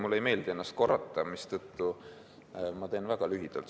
Mulle ei meeldi ennast korrata, mistõttu ma teen väga lühidalt.